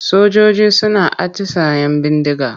Sojoji suna atisayen bindiga.